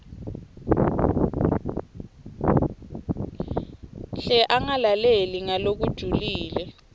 hle angalaleli ngalokujulile